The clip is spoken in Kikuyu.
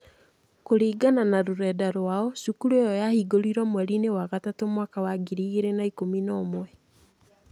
Kũringana na rũrenda rwao, cukuru ĩyo yahingũrirũo mweri-inĩ wa gatatũ mwaka wa ngiri igĩrĩ na ikũmi na ũmwe.